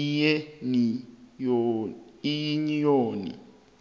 iyuniyoni